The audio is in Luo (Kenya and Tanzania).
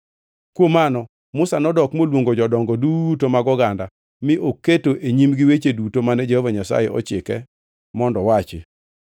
Kuom mano Musa nodok moluongo jodongo duto mag oganda mi oketo e nyimgi weche duto mane Jehova Nyasaye ochike mondo owachi.